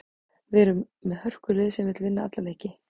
Við erum með hörkulið sem vill vinna alla leiki.